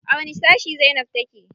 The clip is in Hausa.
A wani sashi zainab take?